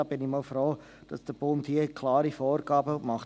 Ich bin froh, dass der Bund klare Vorgaben macht.